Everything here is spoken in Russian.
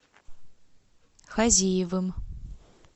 хазиевым